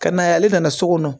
Ka na yan ale nana so kɔnɔ